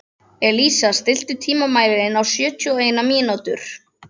Elísa, stilltu tímamælinn á sjötíu og eina mínútur.